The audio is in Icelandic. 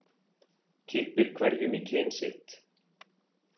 Kippir hverjum í kyn sitt.